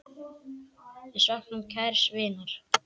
Við söknum kærs vinar.